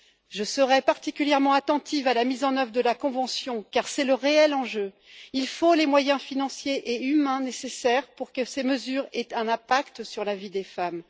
Je serai particulièrement attentive à la mise en œuvre de la convention, car c'est le réel enjeu. Il faut les moyens financiers et humains nécessaires pour que ces mesures aient un impact sur la vie des femmes.